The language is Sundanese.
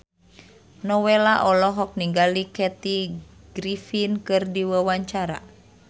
Nowela olohok ningali Kathy Griffin keur diwawancara